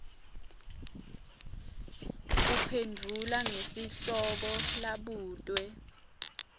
uphendvula ngesihloko labutwe